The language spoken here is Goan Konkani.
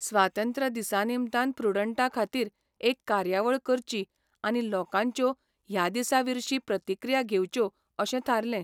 स्वातंत्र्य दिसा निमतान प्रुडंटा खातीर एक कार्यावळ करची आनी लोकांच्यो ह्या दिसा विर्शी प्रतिक्रिया घेवच्यो अशें थारलें.